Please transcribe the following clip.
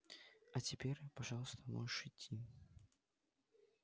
а теперь пожалуйста можешь идти